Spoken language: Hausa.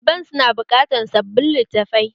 Ɗaliban su na buƙatar sabbin littafai